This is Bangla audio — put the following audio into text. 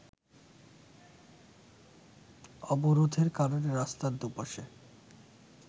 অবরোধের কারণে রাস্তার দু’পাশে